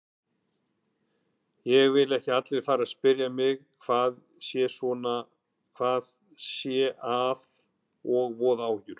Ég vil ekki að allir fari að spyrja mig hvað sé að og voða áhyggjur.